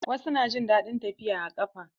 Wasu na jin daɗin tafiya a ƙafa.